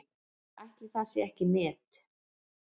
Ætli það sé ekki met?